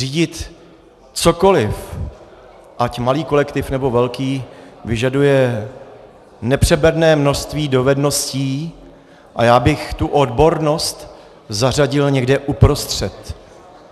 Řídit cokoliv, ať malý kolektiv, nebo velký, vyžaduje nepřeberné množství dovedností a já bych tu odbornost zařadil někam uprostřed.